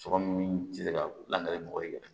Sɔkɔmi ti se ka lakari mɔgɔ yɛrɛ